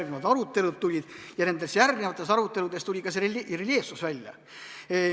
Siis tulid järgnevad arutelud ja nendes järgnevates aruteludes tuli ka see reljeefsus välja.